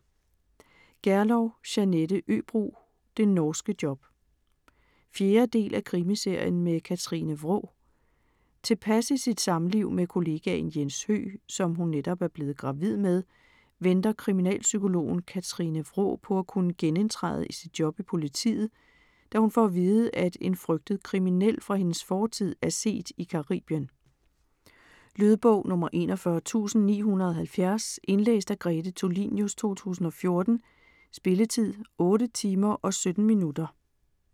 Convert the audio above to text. Gerlow, Jeanette Øbro: Det norske job 4. del af Krimiserien med Katrine Wraa. Tilpas i sit samliv med kollegaen Jens Høgh, som hun netop er blevet gravid med, venter kriminalpsykologen Katrine Wraa på at kunne genindtræde i sit job i politiet, da hun får at vide, at en flygtet kriminel fra hendes fortid, er set i Caribien. Lydbog 41970 Indlæst af Grete Tulinius, 2014. Spilletid: 8 timer, 17 minutter.